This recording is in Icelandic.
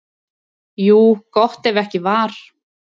Jú, gott ef ekki var.